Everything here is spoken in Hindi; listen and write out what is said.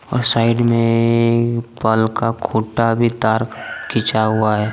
और साइड में ए पल का खुटा भी तार खींचा हुआ है।